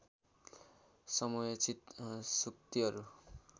समयोचित सूक्तिहरू